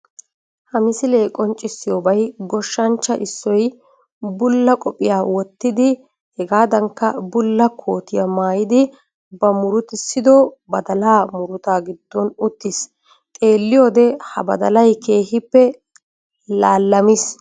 Ha misilee qonccissiyobay goshshanchchaa issoy bulla qophiya wottidi hegaadankka bulla kootiya maayidi ba murutissido badalaa murutaa giddon uttiis. Xeelliyode ha badalay keehippe laallamiis